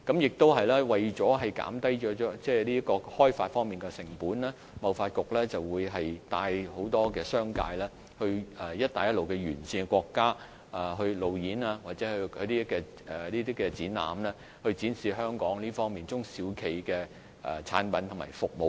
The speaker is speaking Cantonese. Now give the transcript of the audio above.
此外，為了減低開發成本，貿發局帶領很多商界人士到"一帶一路"的沿線國家進行路演或舉辦展覽，以展示香港中小企業的產品及服務。